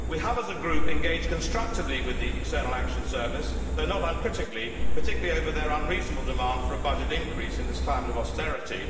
We have as a group engaged constructively with the External Action Service, though not uncritically, particularly over their unreasonable demand for a budget increase in this climate of austerity.